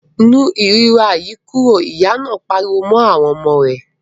Nu ìríra yìí kúrò! Ìyá náà pariwo mọ́ àwọn ọmọ rẹ̀.